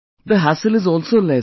The hassle is also less